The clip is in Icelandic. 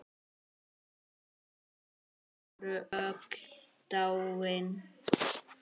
Þau voru öll dáin.